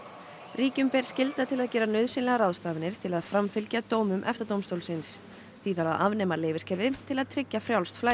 ríkjum ber skylda til að gera nauðsynlegar ráðstafanir til að framfylgja dómum EFTA dómstólsins því þarf að afnema til að tryggja frjálst flæði